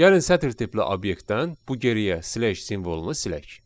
Gəlin sətr tipli obyektdən bu geriyə slash simvolunu silək.